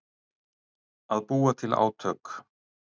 Að búa til átök